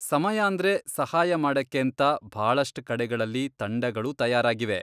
ಸಮಯಾಂದ್ರೆ ಸಹಾಯ ಮಾಡಕ್ಕೇಂತ ಭಾಳಷ್ಟ್ ಕಡೆಗಳಲ್ಲಿ ತಂಡಗಳೂ ತಯಾರಾಗಿವೆ.